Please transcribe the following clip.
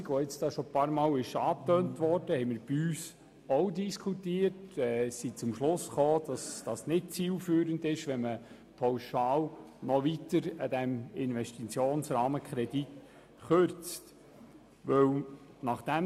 Auch wir haben die bereits mehrfach angetönte 10-prozentige Kürzung diskutiert und sind zum Schluss gekommen, dass es nicht zielführend ist, den Investitionsrahmenkredit pauschal weiter zu kürzen.